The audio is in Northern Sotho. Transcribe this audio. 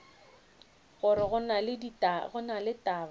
gore go na le taba